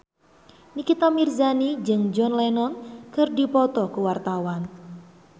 Nikita Mirzani jeung John Lennon keur dipoto ku wartawan